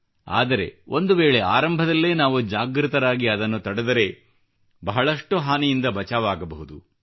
ಆದರೆ ಒಂದು ವೇಳೆ ಆರಂಭದಲ್ಲೇ ನಾವು ಜಾಗೃತರಾಗಿ ಅದನ್ನು ತಡೆದರೆ ಬಹಳಷ್ಟು ಹಾನಿಯಿಂದ ಬಚಾವಾಗಬಹುದು